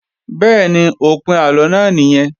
Bẹ́ẹ̀ni, òpin àlọ náà nìyẹn